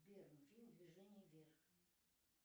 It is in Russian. сбер фильм движение вверх